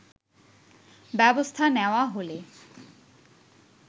ব্যবস্থা নেওয়া হলে